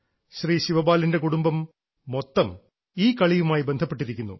ശ്രീ ശിവപാലിൻറെ കുടുംബം മൊത്തം ഈ കളിയുമായി ബന്ധപ്പെട്ടിരിക്കുന്നു